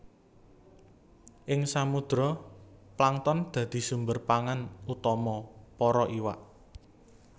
Ing samudra plankton dadi sumber pangan utama para iwak